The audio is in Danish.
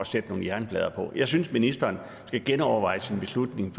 sætte nogle jernplader på jeg synes ministeren skal genoverveje sin beslutning